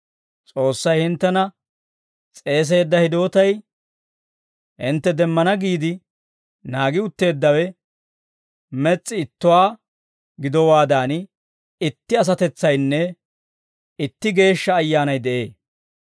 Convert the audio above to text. S'oossay hinttena s'eeseedda hidootay, hintte demmana giide naagi utteeddawe mes's'i ittuwaa gidowaadan, itti asatetsaynne itti Geeshsha Ayyaanay de'ee.